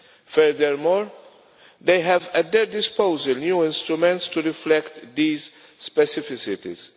Furthermore, they have at their disposal new instruments to reflect these specificities.